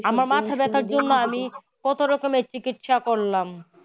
আমার মাথা ব্যাথার জন্যে আমি কত রকমের চিকিৎসা করলাম।